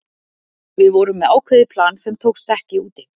Við vorum með ákveðið plan sem tókst ekki úti.